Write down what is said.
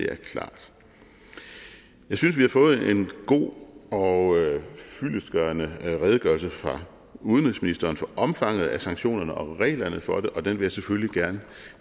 er klart jeg synes vi har fået en god og fyldestgørende redegørelse fra udenrigsministeren for omfanget af sanktionerne og reglerne for det og den vil jeg selvfølgelig gerne